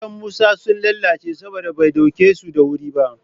Kayan Musa sun lalace saboda bai ɗauke su da wuri ba